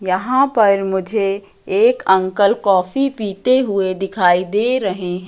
यहां पर मुझे एक अंकल कॉफी पीते हुए दिखाई दे रहे--